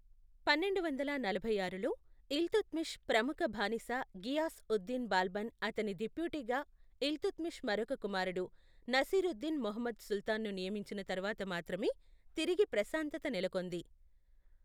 పన్నెండు వందల నలభై ఆరులో ఇల్తుత్మిష్ ప్రముఖ బానిస ఘియాస్ ఉద్ దిన్ బాల్బన్ అతని డిప్యూటీగా ఇల్తుత్మిష్ మరొక కుమారుడు నసీరుద్దీన్ మహ్ముద్ సుల్తాన్ను నియమించిన తరువాత మాత్రమే తిరిగి ప్రశాంతత నెలకొంది.